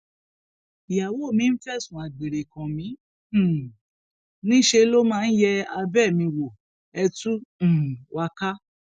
ìyàwó mi ń fẹsùn àgbèrè kàn mí um níṣẹ ló máa ń yé abẹ mi wò ẹ tú um wa ká